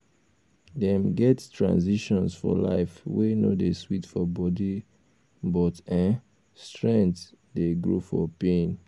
dem get transitions for life wey no dey sweet for body um but um strength um dey grow for pain